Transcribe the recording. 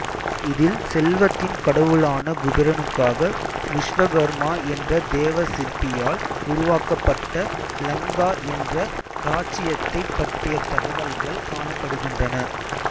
இதில் செல்வத்தின் கடவுளான குபேரனுக்காக விசுவகர்மா என்ற தேவ சிற்பியால் உருவாக்கப்பட்ட லங்கா என்ற ராச்சியத்தைப் பற்றிய தகவல்கள் காணப்படுகின்றன